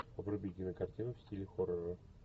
вруби кинокартину в стиле хоррора